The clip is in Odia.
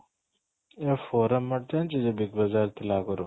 ଇଏ foreign mart ଜାଣିଛୁ ଯୋଉ big ବଜ଼ାର ଥିଲା ଆଗରୁ